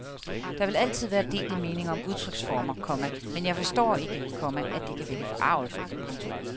Der vil altid være delte meninger om udtryksformer, komma men jeg forstår ikke, komma at det kan vække forargelse. punktum